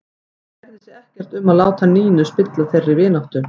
Hann kærði sig ekkert um að láta Nínu spilla þeirri vináttu.